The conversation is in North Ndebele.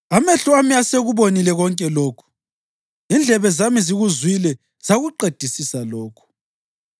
“Amehlo ami asekubonile konke lokhu, indlebe zami zikuzwile zakuqedisisa lokhu.